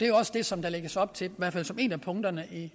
jo også det som der lægges op til hvert fald som et punkterne